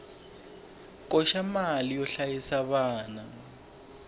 koxa mali yo hlayisa vana